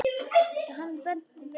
Hann benti Tinnu á það.